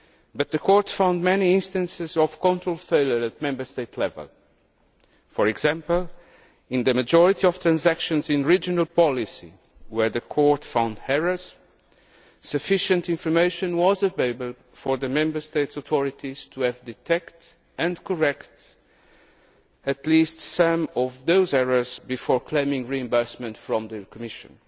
But the Court found many instances of control failure at Member State level. For example, in the majority of transactions in regional policy where the Court found errors, sufficient information was available for the Member State authorities to have detected and corrected at least some of those errors before claiming reimbursement from the Commission.